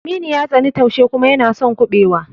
Aminu ya tsani taushe kuma yana son kuɓewa.